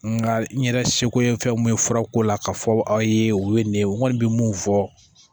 Nga n yɛrɛ seko ye fɛn mun ye fura ko la ka fɔ aw ye o ye nin ye n kɔni bi mun fɔ